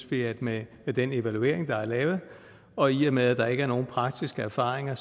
vi med den evaluering der er lavet og i og med at der ikke nogen praktiske erfaringer